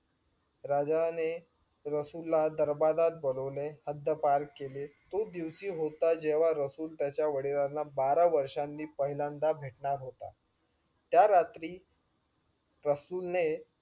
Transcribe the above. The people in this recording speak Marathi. राजाने रसूल ला दरबारात बोलावले हद्दपार केले. तोच दिवशी होता जेंव्हा रसूल त्याच्या वडिलांना बारा वर्षांनी पाहिल्यान्दा भेटणार होता. त्या रात्री रसूल ने